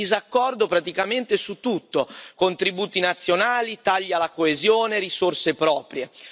sono in disaccordo praticamente su tutto contributi nazionali, tagli alla coesione, risorse proprie.